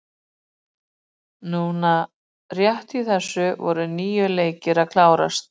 Núna rétt í þessu voru níu leikir að klárast.